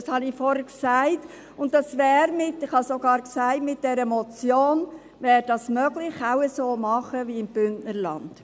– Das habe ich vorhin gesagt, und ich habe sogar gesagt, dass es mit dieser Motion möglich wäre, es auch so zu machen wie im Bündnerland.